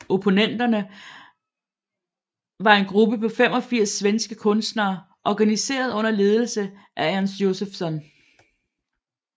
Opponenterna var en gruppe på 85 svenske kunstnere organiseret under ledelse af Ernst Josephson